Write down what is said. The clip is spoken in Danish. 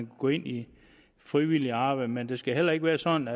gå ind i frivilligt arbejde men det skal heller ikke være sådan